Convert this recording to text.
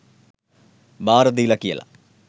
බාර දීල කියල.